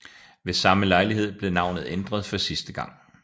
Ved samme lejlighed blev navnet ændret for sidste gang